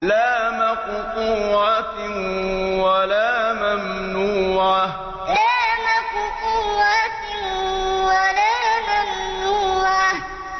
لَّا مَقْطُوعَةٍ وَلَا مَمْنُوعَةٍ لَّا مَقْطُوعَةٍ وَلَا مَمْنُوعَةٍ